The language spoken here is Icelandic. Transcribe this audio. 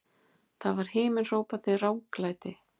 Það var himinhrópandi ranglæti!